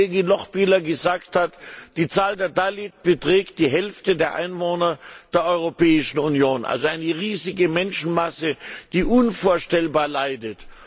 Wie die Kollegin Lochbihler gesagt hat, die Zahl der Dalits beträgt die Hälfte der Einwohner der Europäischen Union, also eine riesige Menschenmasse, die unvorstellbar leidet.